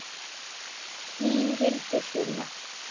Þín Hildur Sunna.